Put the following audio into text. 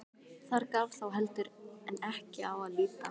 Þar gaf þá heldur en ekki á að líta.